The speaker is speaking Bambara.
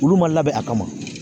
Olu ma labɛn a kama